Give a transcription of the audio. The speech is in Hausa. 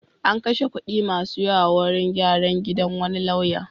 An kashe kuɗi masu yawa wurin gyran gidan wani lauya.